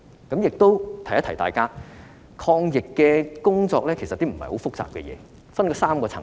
我亦想提醒大家，抗疫工作不是很複雜的事，這分成3個層次。